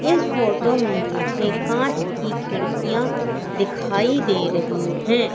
इस फोटो में मुझे कांच की खिड़कियां दिखाई दे रही हैं।